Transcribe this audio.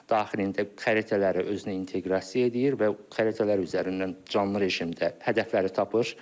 Daxilində xəritələri özünə inteqrasiya edir və xəritələr üzərindən canlı rejimdə hədəfləri tapır.